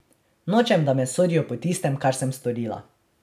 Nočem, da me sodijo po tistem, kar sem storila.